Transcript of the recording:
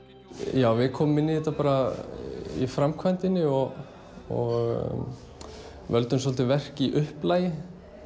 já við komum inn í þetta bara í framkvæmdinni og völdum svolítið verk í upplagi